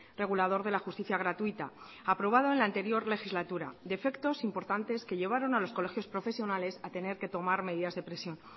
regulador de la justicia gratuita aprobado en la anterior legislatura defectos importantes que llevaron a los colegios profesionales a tener que tomar medidas de presión